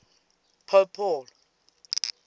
pope paul